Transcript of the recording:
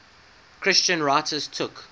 christian writers took